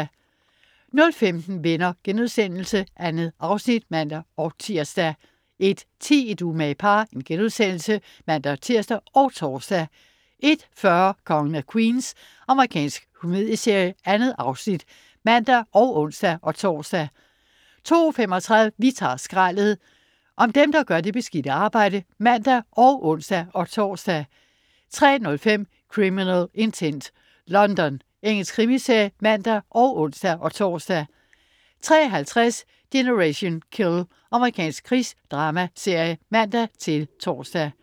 00.15 Venner.* 2 afsnit (man-tirs) 01.10 Et umage par* (man-tirs og tors) 01.40 Kongen af Queens. Amerikansk komedieserie. 2 afsnit (man og ons-tors) 02.35 Vi tager skraldet! Om dem, der gør det beskidte arbejde (man og ons-tors) 03.05 Criminal Intent: London. Engelsk krimiserie (man og ons-tors) 03.50 Generation Kill. Amerikansk krigsdramaserie (man-tors)